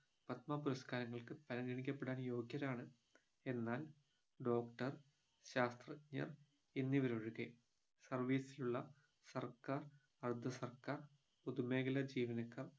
പത്മ പുരസ്കാരങ്ങൾക്ക് പരിഗണിക്കപ്പെടാൻ യോഗ്യരാണ് എന്നാൽ doctor ശാസ്ത്രജ്ഞർ എന്നിവരൊഴികെ service ലുള്ള സർക്കാർ അർദ്ധസർക്കാർ പൊതുമേഖല ജീവനക്കാർ